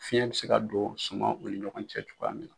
Fiɲɛ be se ka don sumaw ni ɲɔgɔn cɛ cogoya min na.